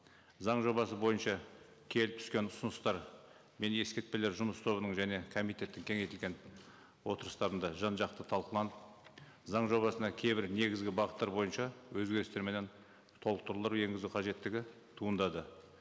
заң жобасы бойынша келіп түскен ұсыныстар мен ескертпелер жұмыс тобының және комитеттің кеңейтілген отырыстарында жан жақты талқыланып заң жобасына кейбір негізгі бағыттар бойынша өзгерістер менен толықтырулар енгізу қажеттігі туындады